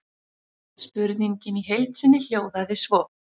Spurningin í heild sinni hljóðaði svo: